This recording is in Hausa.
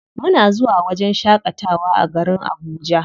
Muna zuwa wajen shaƙatawa a garin Abuja.